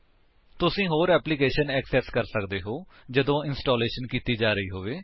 ਤੁਸੀ ਹੋਰ application access ਕਰ ਸਕਦੇ ਹੋ ਜਦੋਂ ਇੰਸਟਾਲੇਸ਼ਨ ਕੀਤੀ ਜਾ ਰਹੀ ਹੋਵੇ